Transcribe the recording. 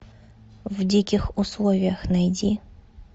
в диких условиях найди